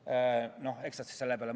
Eks nad siis mõtlevad selle peale.